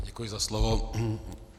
Děkuji za slovo.